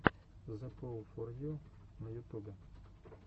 зэпоулфорю на ютубе